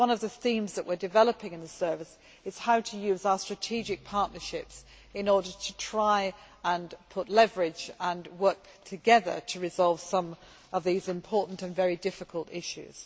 This is one of the themes that we are developing in the service how to use our strategic partnerships in order to try and put leverage and work together to resolve some of these important and very difficult issues.